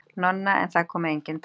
Nonna, en það komu engin tár.